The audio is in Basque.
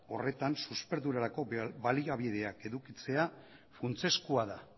horretan susperdurarako baliabideak edukitzea funtsezkoa da